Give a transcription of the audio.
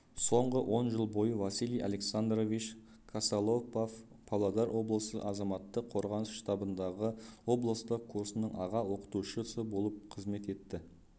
соңғы он жыл бойы василий александрович косолапов павлодар облысы азаматтық қорғаныс штабындағы облыстық курсының аға оқытушысы болып қызмет етті